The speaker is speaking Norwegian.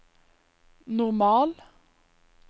normal